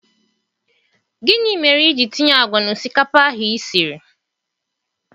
Gịnị mere iji tinye àgwà na osikapa ahụ i siri